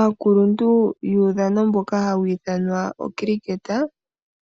Aakuluntu wuudhano mboka hawu ithanwa okiliketa,